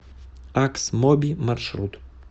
аксмоби маршрут